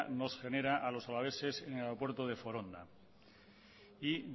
nos genera a los alaveses en el aeropuerto de foronda y